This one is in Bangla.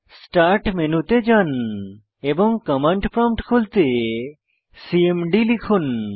স্টার্ট মেনুতে যান এবং কমান্ড প্রম্পট খুলতে সিএমডি লিখুন